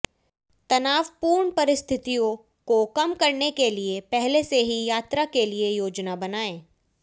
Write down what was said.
तनावपूर्ण परिस्थितियों को कम करने के लिए पहले से ही यात्रा के लिए योजना बनाएं